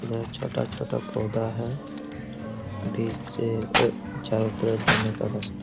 यह छोटा-छोटा पौधा है। बीच से अ चारो तरफ जाने का रास्ता --